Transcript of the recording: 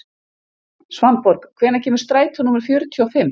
Svanborg, hvenær kemur strætó númer fjörutíu og fimm?